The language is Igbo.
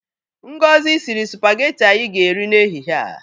Ngozi siri sụpageti anyị ga-eri n'ehihe a.